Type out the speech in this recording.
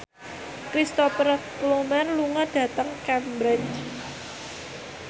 Cristhoper Plumer lunga dhateng Cambridge